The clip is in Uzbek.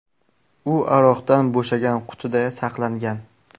U aroqdan bo‘shagan qutida saqlangan.